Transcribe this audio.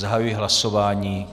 Zahajuji hlasování.